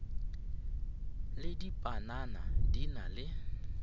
le dipanana di na le